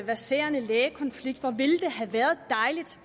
verserende lægekonflikt hvor dejligt